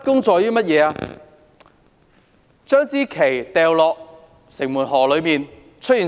將國旗掉進城門河，結果怎樣？